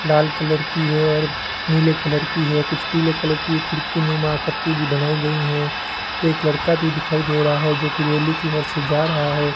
लाल colour की है और नीले कलर की है कुछ पीले कलर की खिड़की नुमा आकृति भी बनाई गई हैं एक लड़का भी दिखाई दे रहा है जो की रैली की ओर से जा रहा है।